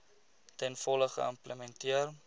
ten volle geïmplementeer